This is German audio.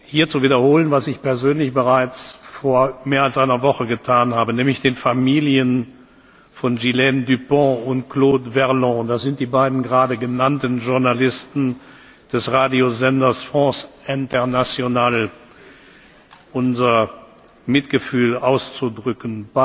hier zu wiederholen, was ich persönlich bereits vor mehr als einer Woche getan habe, nämlich den Familien von Ghislaine Dupont und Claude Verlon das sind die beiden gerade genannten Journalisten des Radiosenders France Internationale unser Mitgefühl auszudrücken.